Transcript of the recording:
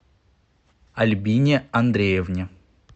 альбине андреевне